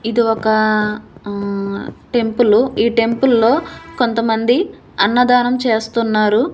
ఇది ఒక ఆ టెంపులు ఈ టెంపుల్లో కొంతమంది అన్నదానం చేస్తున్నారు.